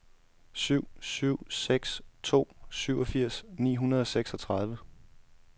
syv syv seks to syvogfirs ni hundrede og seksogtredive